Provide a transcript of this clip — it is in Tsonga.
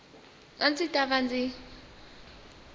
a ndzi ta va ndzi